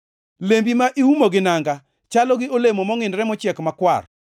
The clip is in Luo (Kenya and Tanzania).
Lembi ma iumo gi nanga chalo gi olemo mongʼinore mochiek makwar.